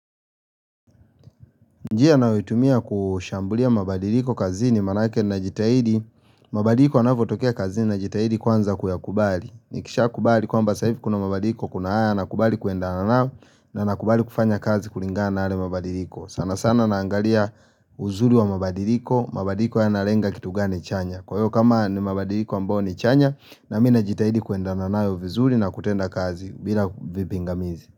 Njia nayoitumia kushambulia mabadiliko kazini maanake najitahidi mabadiliko yanavyotokea kazini najitahidi kwanza kuyakubali. Nikishakubali kwamba sasa hivi kuna mabadiliko, kuna haya nakubali kuendana nao na nakubali kufanya kazi kulingana na yale mabadiliko. Sana sana naangalia uzuri wa mabadiliko. Mabadiliko yanalenga kitu gani chanya. Kwa hivyo kama ni mabadiliko ambao ni chanya nami najitahidi kuendana nayo vizuri na kutenda kazi bila vipingamizi.